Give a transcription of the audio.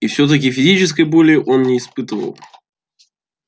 и всё-таки физической боли он не испытывал